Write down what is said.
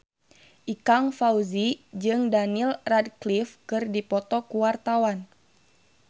Ikang Fawzi jeung Daniel Radcliffe keur dipoto ku wartawan